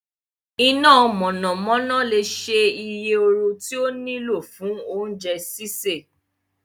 Ina monanona le ṣe oye ooru ti o nilo fun ounje sise